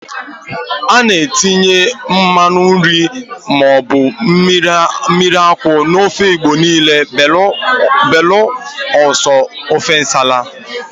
A na-etinye mmanụ nri maọbụ mmiri akwụ n'ofe Igbo niile belụsọ ofe nsala.